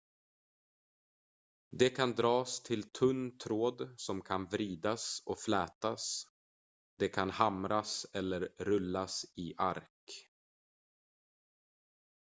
det kan dras till tunn tråd som kan vridas och flätas det kan hamras eller rullas i ark